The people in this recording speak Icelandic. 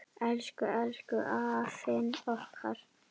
Elsku, elsku afinn okkar.